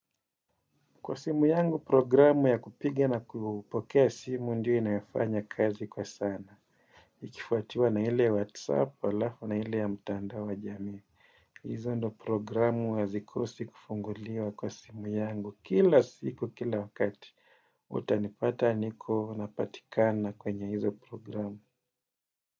Kwa simu yangu programu ya kupiga na kupokea simu, ndio inayofanya kazi kwa sana. Ikifuatiwa na ile WhatsApp alafu na ile ya mtandao wa jamii. Hizo ndo programu hazikosi kufunguliwa kwa simu yangu kila siku kila wakati. Utanipata niko napatikana kwenye hizo programu.